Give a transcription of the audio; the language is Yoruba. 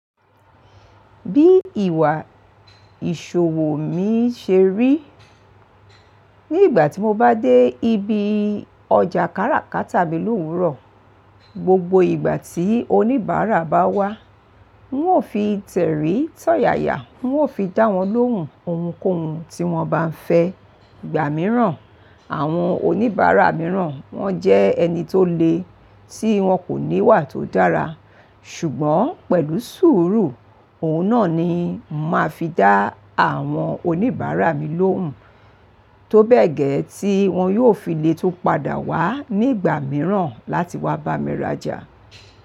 Bí ìwà ìṣòwò mi ṣe rí, ní ìgbà tí mo bá dé ibi ọjà káràkátà mi l'òwúrọ̀, gbogbo ìgbà tí oníbàárà bá wá, wọn ó fi tẹ̀rín tọ̀yàyà, oun ó fi dá wọn lóhùn ohunkóhun tí wọ́n bá ń fẹ́. Ìgbà mìíràn, àwọn oníbàárà mìíràn wọ́n jẹ́ ẹni tó le tí wọn kò ní wà tó dára. Ṣùgbọ́n pẹ̀lú sùúrù, òun náà ni màá fi dá àwọn oníbàárà mi lóhùn tó bẹ́ẹ̀ gẹ́ tí wọn yóò fi lè tún padà wá ní ìgbà mìíràn láti wá bá mi rajà.